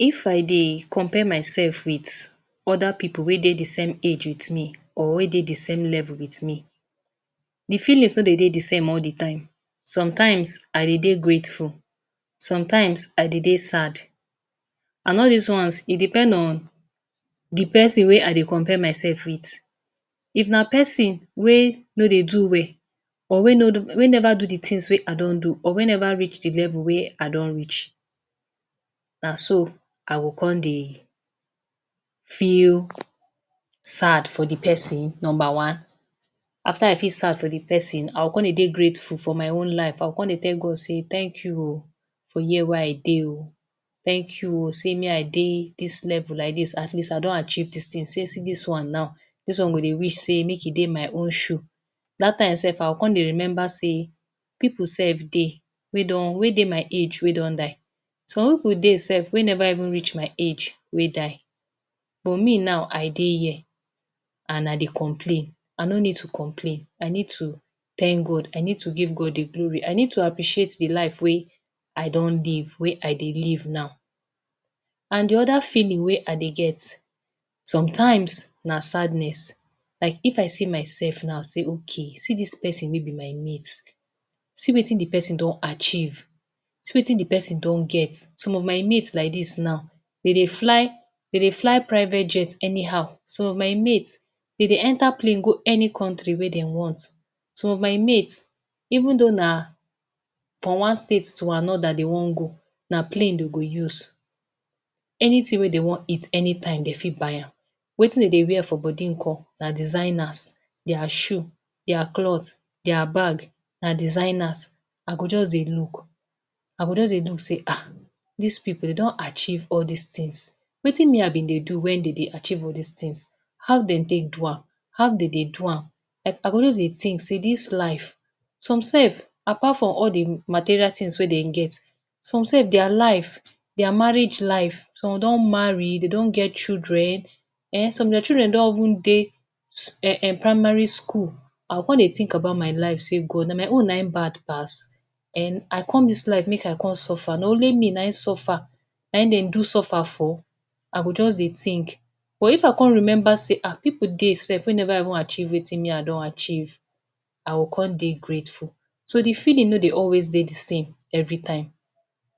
If i dey compare myself with other pipu wey dey the same age with me or wey dey the same level with me, the feelings no dey dey the same all the time. Sometimes I dey dey grateful, sometimes I dey dey sad. And all des ones, e depend on the pesin wey i dey compare myself with. If na pesin wey wey dey do well or wey no wey never do the things wey i don do or wey never reach the level wey I don reach, Na so i go con dey feel sad for the pesin number one. After i feel sad for the pesin, I go con dey dey grateful for my own life. I go con dey tell God say thank you oh for here where i dey oh, thank you oh sey me i dey dis level like dis at least i don achieve des things. See dis one now, dis one go dey wish sey make e dey my own shoe. Dat time self i go con dey remember sey pipu self dey wey don wey dey my age wey don die. Some pipu dey self wey never reach my age wey die but me now, i dey here and I dey complain. I no need to complain. I need to thank God, I need to give God the glory. I need to appreciate the life wey i don dey, wey i dey live now. And the other feeling wey i dey get sometimes na sadness. Like if i see myself now sey okay see dis pesin wey be my mate, see wetin the pesin don achieve, see wetin the pesin don get. Some of my mate like dis now, de dey fly, de dey fly private jet anyhow. Some of my mate, de dey enter plane go any country wey dem want. Some of my mate, even though na from one state to another they wan go, na plane they go use. Anything wey they wan eat anytime, they fit buy am. Wetin de dey wear for body nko, na designers. Their shoes, their cloths, their bags na designers. I go just dey look. I go just dey look sey ha! dis pipu de don achieve all des things. Wetin me I be dey do when de do achieve all des things? How de take do am? How de dey do am? I I go just dey think, dis life. Some self apart from all the material wey dem get, some self their life, their marriage life, some don marry, they don get children. {um] Their children don even dey um um primary school. I go con dey think about my life sey God, na my own na im bad pass um. I con dis life make i con suffer? Na only me na im suffer na im dey do suffer for? I go just con dey thing but if i con remember sey ha! pipu dey self wey never even achieve wetin me I don achieve, I go con dey grateful. So, the feeling no dey always dey the same every time.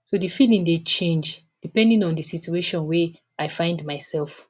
So, the feeling dey change depending on the situation wey I find myself.